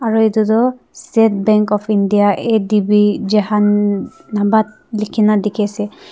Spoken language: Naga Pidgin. aru etu tu state bank of india A_D_B jahandabad likhi na dikhi ase.